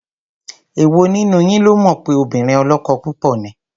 Èwo nínú yín ló mọ̀ pé obìnrin ọlọ́kọ púpọ̀ ni?